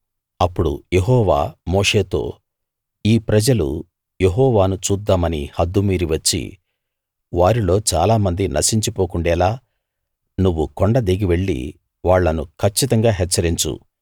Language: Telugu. అప్పుడు యెహోవా మోషేతో ఈ ప్రజలు యెహోవాను చూద్దామని హద్దు మీరి వచ్చి వారిలో చాలా మంది నశించిపోకుండేలా నువ్వు కొండ దిగి వెళ్లి వాళ్లను కచ్చితంగా హెచ్చరించు